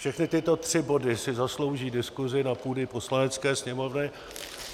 Všechny tyto tři body si zaslouží diskusi na půdě Poslanecké sněmovny.